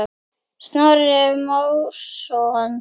Snorri Másson.